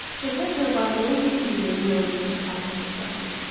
Cəfər Cabbarlının ev muzeyinin yanındakı parka getdi Əhməd.